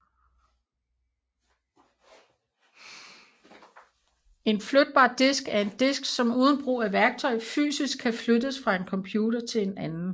En flytbar disk er en disk som uden brug af værktøj fysisk kan flyttes fra en computer til en anden